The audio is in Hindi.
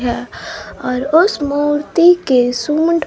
यह और उस मूर्ति के सूंड--